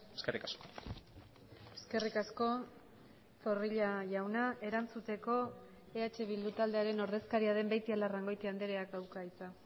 eskerrik asko eskerrik asko zorrilla jauna erantzuteko eh bildu taldearen ordezkaria den beitialarrangoitia andreak dauka hitza